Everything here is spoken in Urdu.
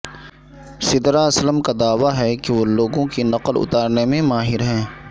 سدرہ اسلم کا دعوی ہے کہ وہ لوگوں کی نقل اتارنے میں ماہر ہیں